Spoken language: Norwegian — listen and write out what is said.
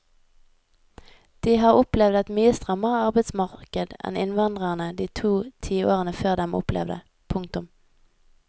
De har opplevd et mye strammere arbeidsmarked enn innvandrerne de to tiårene før dem opplevde. punktum